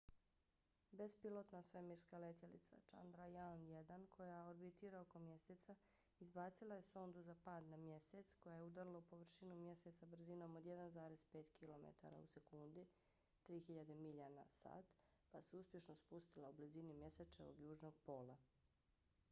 bespilotna svemirska letjelica chandrayaan-1 koja orbitira oko mjeseca izbacila je sondu za pad na mjesec mip koja je udarila u površinu mjeseca brzinom od 1,5 kilometara u sekundi 3000 milja na sat pa se uspješno spustila u blizini mjesečevog južnog pola